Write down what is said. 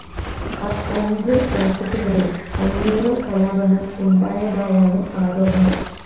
അഞ്ച് വര്‍ഷത്തിനിടെ അഞ്ഞൂറ് കലാപങ്ങള്‍ ഉണ്ടായതായാണ് ആരോപണം